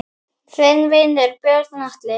Þinn vinur, Björn Atli.